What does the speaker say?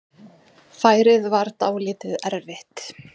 Færið var dálítið erfitt.